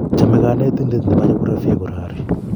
Chomei konetinte ne bo Geographia kurori.